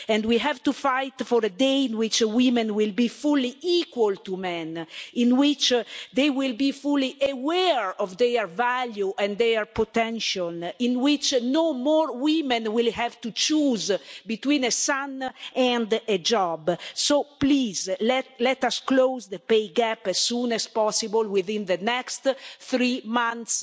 We have to fight for a day on which women will be fully equal to men, on which they will be fully aware of their value and their potential, and on which no more women will have to choose between a child and a job. So please let us close the pay gap as soon as possible within the next three months.